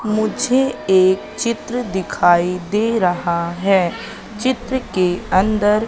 मुझे एक चित्र दिखाई दे रहा है चित्र के अंदर--